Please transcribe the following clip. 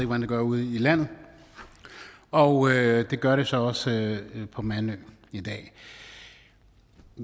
hvad den gør ude i landet og det gør den så også på mandø i dag